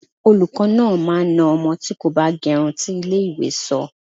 Olùkọ́ náà máa na ọmọ tí kò bá gẹrun tí ilé ìwé sọ.